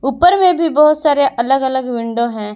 ऊपर में भी बहुत सारे अलग अलग विंडो हैं।